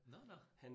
Nåh nåh